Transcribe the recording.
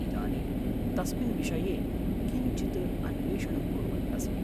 इदानीं तस्मिन् विषये किञ्चित् अन्वेषणं कुर्वन् अस्मि।